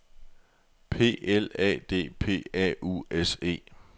P L A D E P A U S E